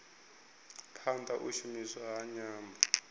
phanda u shumiswa ha nyambo